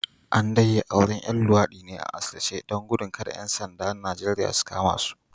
An dai yi auren ‘yan luwadi ne a asirce don gudun kada ‘yan sandan Najeriya su kama su